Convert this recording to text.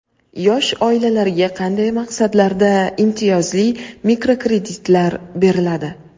Yosh oilalarga qanday maqsadlarda imtiyozli mikrokreditlar beriladi?.